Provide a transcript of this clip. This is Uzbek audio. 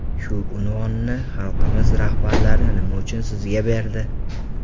Shu unvonni xalqimiz rahbarlari nima uchun sizga berdi?